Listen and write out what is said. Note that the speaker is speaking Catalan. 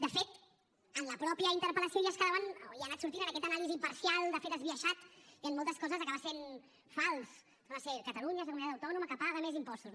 de fet en la mateixa interpel·lació ja es quedaven o ja ha anat sortint en aquesta anàlisi parcial de fet esbiaixat i en moltes coses acaba sent fals torna a ser catalunya és la comunitat autònoma que paga més impostos